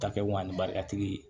Ta kɛ ko ani barikatigi